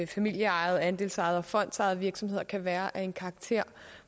familieejede andelsejede og fondsejede virksomheder kan være af en karakter